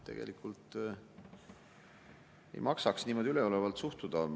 Tegelikult ei maksaks niimoodi üleolevalt suhtuda.